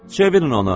Çevirin onu.